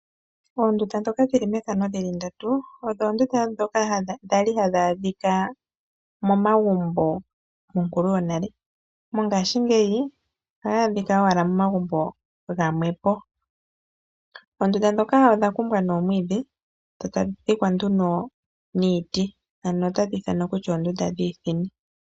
Uundunda dhoka dhili mefano dhili ndatu odho oondunda dhoka dhali hadhi adhika momagumbo monkulu yonale, mongaashingeyi ohayi adhika owala momagumbo gamwepo, oondunda dhoka odha kumbwa noomwiidhi dho tadhi dhikwa nduno niiti, ano otadhi ithanwa kutya oondunda dhiithini.